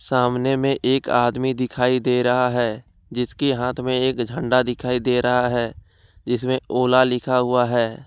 सामने में एक आदमी दिखाई दे रहा है जिसकी हाथ में एक झंडा दिखाई दे रहा है इसमें ओला लिखा हुआ है।